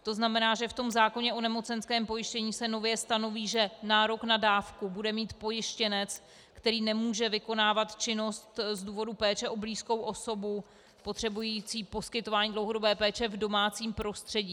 To znamená, že v tom zákoně o nemocenském pojištění se nově stanoví, že nárok na dávku bude mít pojištěnec, který nemůže vykonávat činnost z důvodu péče o blízkou osobu potřebující poskytování dlouhodobé péče v domácím prostředí.